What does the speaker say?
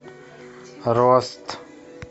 рост